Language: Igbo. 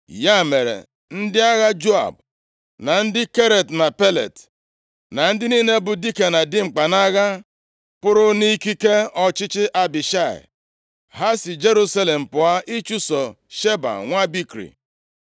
Ya mere ndị agha Joab, na ndị Keret na Pelet, na ndị niile bụ dike na dimkpa nʼagha pụrụ nʼikike ọchịchị Abishai. Ha si Jerusalem pụọ ịchụso Sheba nwa Bikri.